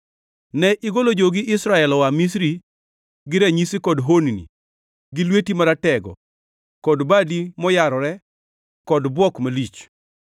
Ne igolo jogi Israel oa Misri gi ranyisi kod honni, gi lweti maratego kod badi moyarore kod bwok malich.